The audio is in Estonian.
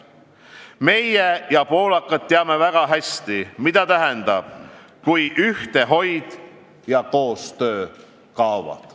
Meie ja poolakad teame väga hästi, mida tähendab, kui ühtehoid ja koostöö kaovad.